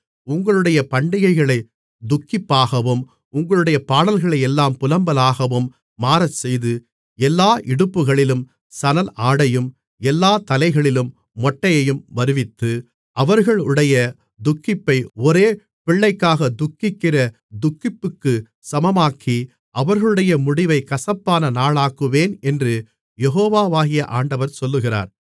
உங்களுடைய பண்டிகைகளைத் துக்கிப்பாகவும் உங்களுடைய பாடல்களையெல்லாம் புலம்பலாகவும் மாறச்செய்து எல்லா இடுப்புகளிலும் சணல் ஆடையும் எல்லாத் தலைகளிலும் மொட்டையையும் வருவித்து அவர்களுடைய துக்கிப்பை ஒரே பிள்ளைக்காகத் துக்கிக்கிற துக்கிப்புக்குச் சமமாக்கி அவர்களுடைய முடிவைக் கசப்பான நாளாக்குவேன் என்று யெகோவாகிய ஆண்டவர் சொல்லுகிறார்